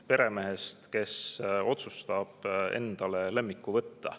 Peremehest, kes otsustab endale lemmiku võtta.